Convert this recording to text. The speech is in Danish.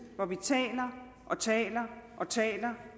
hvor vi taler og taler